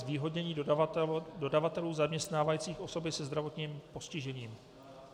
"Zvýhodnění dodavatelů zaměstnávajících osoby se zdravotním postižením".